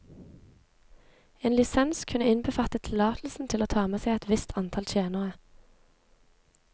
En lisens kunne innbefatte tillatelse til å ta med seg et visst antall tjenere.